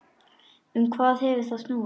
Um hvað hefur það snúist?